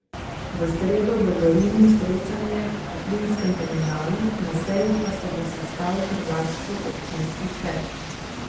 V sredo bo v Rimu srečanje o plinskem terminalu, na seji pa se bo sestal tržaški občinski svet.